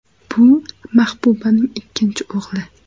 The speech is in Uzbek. Bu Mahbubaning ikkinchi o‘g‘li.